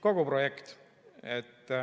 Kogu projekt.